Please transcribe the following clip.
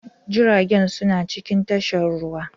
Jiragen suna cikin tashar ruwa.